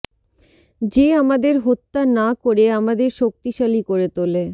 যে আমাদের হত্যা না করে আমাদের শক্তিশালী করে তোলে